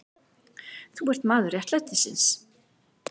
Þú ert maður réttlætisins.